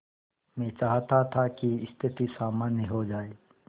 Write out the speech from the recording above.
मैं चाहता था कि स्थिति सामान्य हो जाए